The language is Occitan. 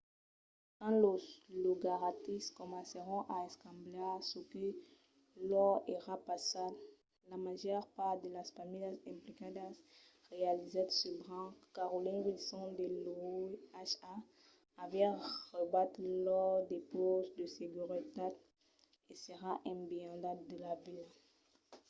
quand los logataris comencèron a escambiar çò que lor èra passat la màger part de las familhas implicadas realizèt subran que carolyn wilson de l’oha aviá raubat lors depauses de seguretat e s'èra esbinhada de la vila